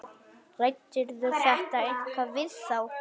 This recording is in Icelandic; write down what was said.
Ræddirðu þetta eitthvað við þá?